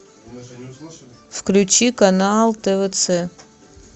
включи канал твц